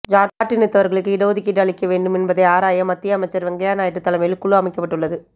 ஜாட் இனத்தவர்களுக்கு இட ஒதுக்கீடு அளிக்க வேண்டும் என்பதனை ஆராய மத்திய அமைச்சர் வெங்கையா நாயுடு தலைமையில் குழு அமைக்கப்பட்டுள்ளது